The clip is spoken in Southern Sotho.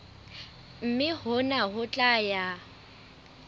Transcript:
mme hona ho tla ya